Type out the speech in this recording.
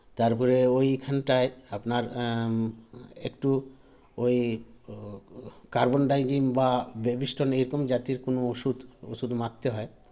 তারপরে ঐখানটায় আপনার এম একটু ঐ carbon dygen বা Babyston -এইরকম জাতীয় কোনো ওষুধ ওষুধ মারতে হয়